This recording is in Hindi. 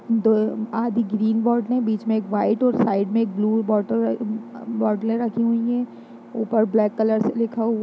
दो आधी ग्रीन बॉटलें है बीच में एक वाईट और साइड में एक ब्लू बोटल अ बॉटलें रखी हुई है ऊपर ब्लैक कलर से लिखा हु --